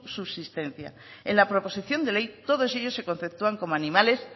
su subsistencia en la proposición de ley todos ellos se conceptúan como animales